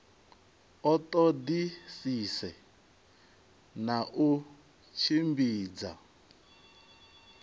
a ṱoḓisise na u tshimbidza